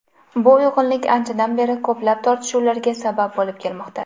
Bu uyg‘unlik anchadan beri ko‘plab tortishuvlarga sabab bo‘lib kelmoqda.